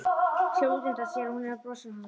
Sér útundan sér að hún er að brosa að honum.